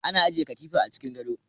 ana ajiye katifa a cikin gado